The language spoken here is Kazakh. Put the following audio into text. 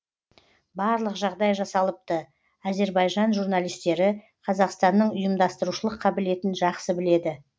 барлық жағдай жасалыпты әзербайжан журналистері қазақстанның ұйымдастырушылық қабілетін жақсы біледі